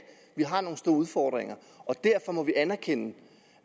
vi har nogle store udfordringer og derfor må vi anerkende